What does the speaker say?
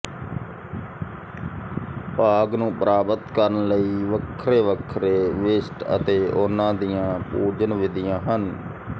ਭਾਗ ਨੂੰ ਪ੍ਰਾਪਤ ਕਰਨ ਲਈ ਵੱਖਰੇ ਵੱਖਰੇ ਵਿਸ਼ਟ ਅਤੇ ਉਹਨਾ ਦੀਆਂ ਪੂਜਨ ਵਿਧੀਆਂ ਹਨ